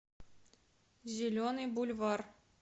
зеленый бульвар